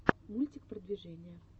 мультик продвижения